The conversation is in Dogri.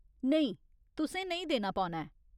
नेईं, तुसें नेईं देना पौना ऐ।